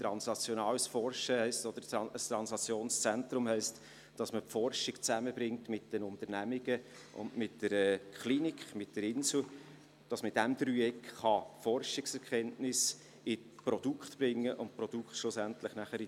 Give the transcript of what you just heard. Translationales Forschen oder das Translationszentrum heisst, dass man die Forschung mit den Unternehmungen zusammenbringt und mit der Klinik, dem Inselspital, sodass man innerhalb dieses Dreiecks Forschungserkenntnisse in Produkte umsetzen kann und die Produkte schlussendlich in